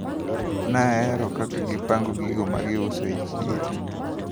Nahero kaka negipango gigo magiuso e chiro.